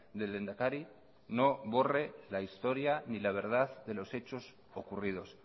del lehendakari no borre la historia ni la verdad de los hechos ocurridos